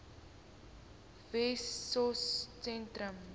wessosentrum